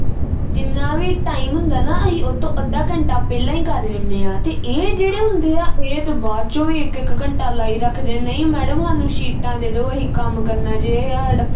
ਜਿੰਨਾ ਵੀ time ਹੁੰਦਾ ਨਾ ਅਹੀ ਉਹ ਤੋਂ ਅੱਧਾ ਘੰਟਾ ਪਹਿਲਾਂ ਈ ਕਰ ਲੈਂਦੇ ਆ ਤੇ ਇਹ ਜਿਹੜੇ ਹੁੰਦੇ ਆ ਇਹ ਤੇ ਬਾਅਦ ਚੋ ਵੀ ਇਕ ਇਕ ਘੰਟਾ ਲਾਈ ਰੱਖਦੇ ਨਹੀਂ madam ਹਾਨੂੰ ਸ਼ੀਟਾਂ ਦੇ ਦੋ ਅਹੀ ਕੰਮ ਕਰਨਾ ਜੇ ਹਾਡਾ